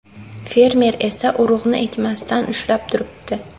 Fermer esa urug‘ni ekmasdan ushlab turibdi.